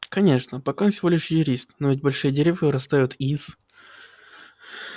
конечно пока он всего лишь юрист но ведь большие деревья вырастают из